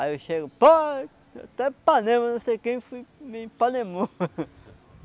Aí eu chego pai, até panema, não sei quem me panemou.